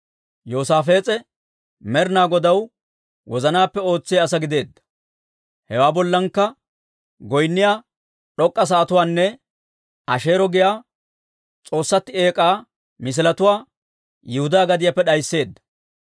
Yoosaafees'e Med'inaa Godaw wozanaappe ootsiyaa asaa gideedda. Hewaa bollankka goynniyaa d'ok'k'a sa'atuwaanne Asheero giyaa s'oossatti eek'aa misiletuwaa Yihudaa gadiyaappe d'aysseedda.